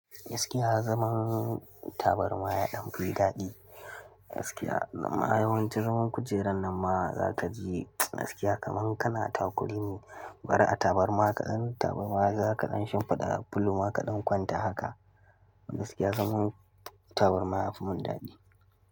Gaskiya zaman tabarma yaɗan fi daɗi, gaskiya zama yawanci zaman kujerar nan ma za ka ji gaskiya kamar kana takure ne bara a tabarma kaɗan tabarma za kaɗan shimfiɗa pillow zakaɗan kwanta haka gaskiya zaman tabarma ya fi mun daɗi.